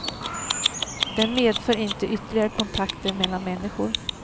Den medför inte ytterligare kontakter mellan människor.